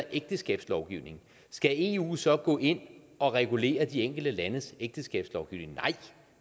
ægteskabslovgivning skal eu så gå ind og regulere de enkelte landes ægteskabslovgivning nej